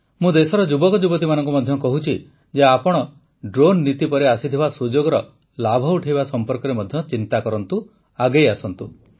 ମୁଁ ଦେଶର ଯୁବକ ଯୁବତୀମାନଙ୍କୁ ମଧ୍ୟ କହୁଛି ଯେ ଆପଣ ଡ୍ରୋନ୍ ନୀତି ପରେ ଆସିଥିବା ସୁଯୋଗର ଲାଭ ଉଠାଇବା ସମ୍ପର୍କରେ ମଧ୍ୟ ନିଶ୍ଚିତ ଚିନ୍ତା କରନ୍ତୁ ଆଗେଇ ଆସନ୍ତୁ